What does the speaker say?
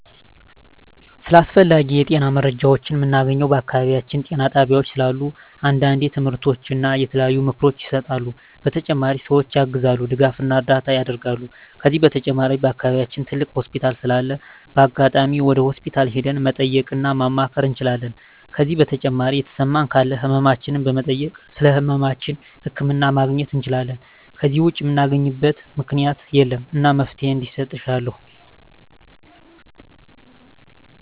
ስለ አስፈላጊ የጤና መረጃዎችን ምናገኘው በአካባቢያችን ጤና ጣቤያዎች ስላሉ አንዳንዴ ትምህርቶች እና የተለያዩ ምክሮች ይሰጣሉ በተጨማሪ ሰዎችን ያግዛሉ ድጋፍና እርዳታ ያረጋሉ ከዚህ በተጨማሪ በአከባቢያችን ትልቅ ሆስፒታል ስላለ በአጋጣሚ ወደ ሆስፒታል ሄደን መጠየቅ እና ማማከር እንችላለን ከዜ በተጨማሪ የተሰማን ካለ ህመማችን በመጠየክ ስለህመማችን ህክምና ማግኘት እንችላለን ከዜ ውጭ ምናገኝበት ምክኛት የለም እና መፍትሔ እንዲሰጥ እሻለሁ